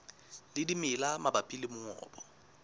le dimela mabapi le mongobo